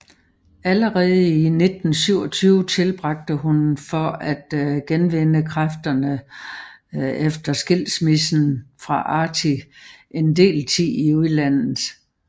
Allerede i 1927 tilbragte hun for at genvinde kræfterne efter skilsmissen fra Archie en del tid i udlandet